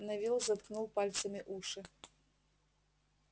невилл заткнул пальцами уши